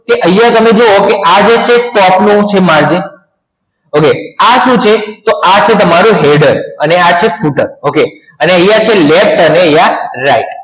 તો તમે આયા જોવો તો આ જે છે top નું છે margin okay આ સુ છે તમરું header અને આ છે footer okay આયા છે left અને આયા right